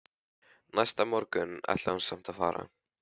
Næsta morgun ætlaði hún samt að fara.